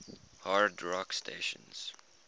hard rock stations